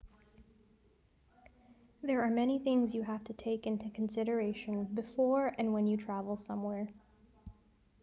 there are many things you have to take into consideration before and when you travel somewhere